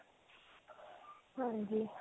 ਹਾਂਜੀ.